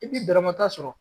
I b'i bɛrɛmata sɔrɔ